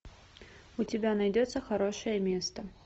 у тебя найдется хорошее место